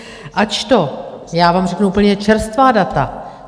AČTO - já vám řeknu úplně čerstvá data.